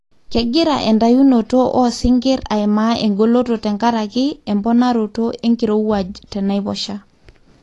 kengira entayunoto osinkir aimaa engoloto tenkaraki emponaroto enkirowuaj tenaiposha.